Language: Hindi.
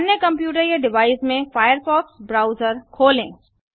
अन्य कंप्यूटर या डिवाइस में फायरफॉक्स ब्राउजर खोलें